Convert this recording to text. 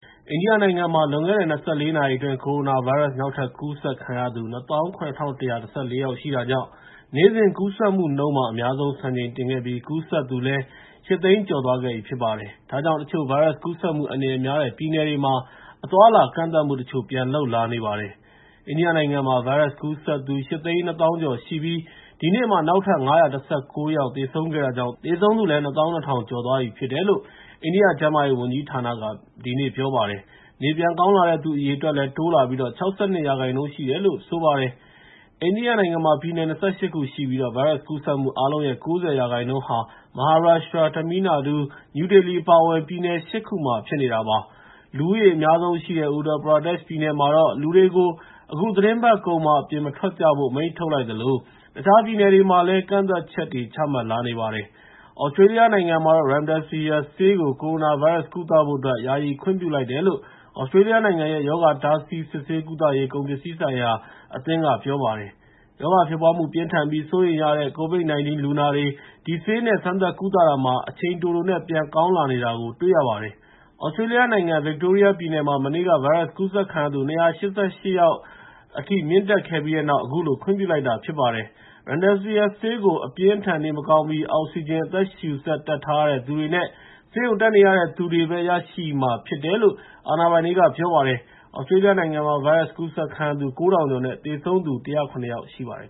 အိန္ဒိယနိုင်ငံမှာ လွန်ခဲ့တဲ့ ၂၄ နာရီအတွင်း ကိုရိုနာဗိုင်းရပ်စ် နောက်ထပ် ကူးစက်သူ ၂၇,၁၁၄ ယောက်ရှိတာကြောင့် နေ့စဉ်ကူးစက်မှုနှုန်းမှာ အများဆုံး စံချိန်တင်ခဲ့ပြီး ကူးစက်သူလည်း ၈ သိန်းကျော်သွားခဲ့ပြီ ဖြစ်ပါတယ်။ ဒါကြောင့် တချို့ ဗိုင်းရပ်စ်ကူးစက်မှု အန္တရာယ်များတဲ့ ပြည်နယ်တွေမှာ အသွားအလာ ကန့်သတ်မှုတချို့ ပြန်လုပ်လာနေပါတယ်။ အိန္ဒိယနိုင်ငံမှာ ဗိုင်းရပ်စ်ကူးစက်သူ ၈၂၀,၀၀၀ ကျော်ရှိပြီး ဒီနေ့မှာ နောက်ထပ် ၅၁၉ ယောက် သေဆုံးခဲ့တာကြောင့် သေဆုံးသူလည်း ၂၂,၁၂၃ ယောက်ထက်မနည်း ရှိသွားပြီလို့ အိန္ဒိယ ကျန်းမာရေးဝန်ကြီးဌာနက ဒီကနေ့ ပြောပါတယ်။ နေပြန်ကောင်းလာတဲ့သူ အရေအတွက်လည်း တိုးလာပြီး ၆၂ ရာခိုင်နှုန်း ရှိတယ်လို့ ပြောပါတယ်။ အိန္ဒိယနိုင်ငံမှာ ပြည်နယ် ၂၈ ခုရှိပြီး ဗိုင်းရပ်စ်ကူးစက်မှု အားလုံးရဲ့ ၉၀ ရာခိုင်နှုန်းက မဟာရပ်ရှ်ထရာ၊ တမီးလ်နာဒူး၊ နယူးဒေလီ အပါအဝင် ပြည်နယ် ၈ ခုမှာ ဖြစ်နေတာပါ။ လူဦးရေအများဆုံးရှိတဲ့ ဥတ္တာပရာဒက်ရှ် ပြည်နယ်မှာတော့ လူတွေကို အခုသီတင်းပတ်ကုန်မှာ အပြင်မထွက်ကြဖို့ အမိန့်ထုတ်လိုက်သလို တခြားပြည်နယ်တွေမှာလည်း ကန့်သတ်ချက်တွေ ချမှတ်လာခဲ့ပါတယ်။ သြစတြေးလျနိုင်ငံမှာတော့ Remdesvir ဆေးကို ကိုရိုနာဗိုင်းရပ်စ် ကုသဖို့အတွက် ယာယီခွင့်ပြုလိုက်တယ်လို့ သြစတြေးလျနိုင်ငံရဲ့ ရောဂါ တားဆီးစစ်ဆေး ကုသရေး ကုန်ပစ္စည်းများဆိုင်ရာအသင်းက ပြောပါတယ်။ ရောဂါဖြစ်ပွားမှု ပြင်းထန်ပြီး စိုးရိမ်ရတဲ့ COVID-19 လူနာတွေ ဒီဆေးနဲ့ စမ်းသပ်ကုသတာမှာ အချိန်တိုတိုနဲ့ နေပြန်ကောင်းလာတာကို တွေ့ရပါတယ်။ သြစတြေးလျနိုင်ငံ ဗစ်တိုးရီးယားပြည်နယ်မှာ မနေ့က ဗိုင်းရပ်စ်ကူးစက်ခံရသူ ၂၈၈ ယောက်အထိ မြင့်တက်ခဲ့ပြီး အခုလို ခွင့်ပြုလိုက်တာ ဖြစ်ပါတယ်။ Remdesivir ဆေးကို အပြင်းအထန် နေမကောင်းပြီး အောက်ဆီဂျင် အသက်ရှူစက် တပ်ထားရတဲ့သူတွေနဲ့ ဆေးရုံတက်နေရတဲ့သူတွေပဲ ရရှိမှာဖြစ်တယ်လို့ အာဏာပိုင်တွေက ပြောပါတယ်။ သြစတြေးလျနိုင်ငံမှာ ဗိုင်းရပ်စ်ကူးစက်ခံရသူ ၉,၀၀၀ ကျော်နဲ့ သေဆုံးသူ ၁၀၇ ယောက်ရှိပါတယ်